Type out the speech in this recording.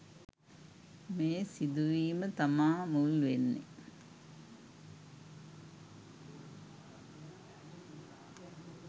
මේ සිදුවීම තමා මුල් වෙන්නෙ.